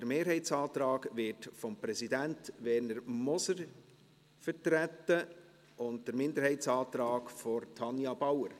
Der Mehrheitsantrag wird vom Präsidenten Werner Moser vertreten und der Minderheitsantrag von Tanja Bauer.